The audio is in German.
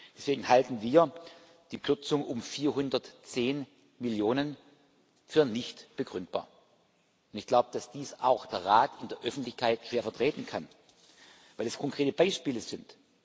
Deswegen halten wir die Kürzung um 410⁰Millionen für nicht begründbar. Und ich glaube, dass dies auch der Rat in der Öffentlichkeit schwer vertreten kann, weil es konkrete Beispiele sind.